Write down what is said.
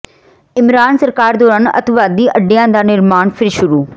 ਇਮਰਾਨ ਸਰਕਾਰ ਦੌਰਾਨ ਅਤਿਵਾਦੀ ਅੱਡਿਆਂ ਦਾ ਨਿਰਮਾਣ ਫਿਰ ਸ਼ੁਰੂ